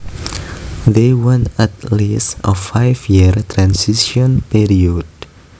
They want at least a five year transition period